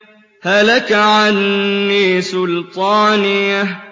هَلَكَ عَنِّي سُلْطَانِيَهْ